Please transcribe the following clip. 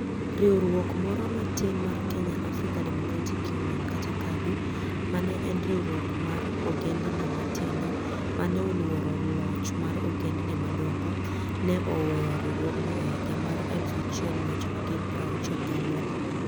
Riwruok moro matin mar Kenya African Democratic Union (KADU), ma ne en riwruok mar ogendini matindo ma ne oluoro loch mar ogendini madongo, ne oweyo riwruogno e higa 1964.